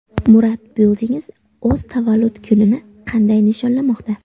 Murad Buildings o‘z tavallud kunini qanday nishonlamoqda?.